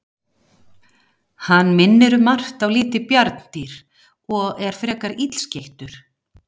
Hann minnir um margt á lítið bjarndýr og er frekar illskeyttur.